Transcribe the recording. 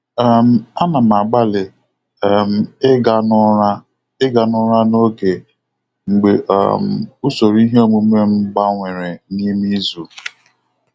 um A na m agbalị um ịga n'ụra ịga n'ụra n'oge mgbe um usoro iheomume m gbanwere n'ime izu.